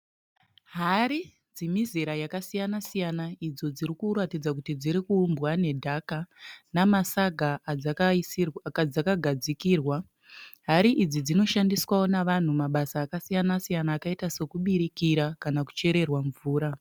Hari dzemizera yakasiyana siyana idzo dzirikuratidza kuti dzirikuumbwa nedhaka nemasaga adzakagadzikirwa. Hari idzi dzinoshandiswa nevanhu mabasa akasiyana siyana akaita sekubikira kana kucherera mvura